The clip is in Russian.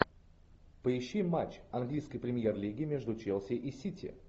поищи матч английской премьер лиги между челси и сити